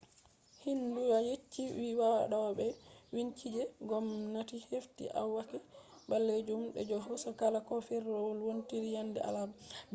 xinhua yecci vi wadobe binchike je gomnati hefti akwati balejum je hosugo kala ko firawol wontiri yande alarba